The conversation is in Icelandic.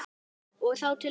Og þá til hvers?